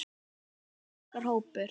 Þetta er okkar hópur.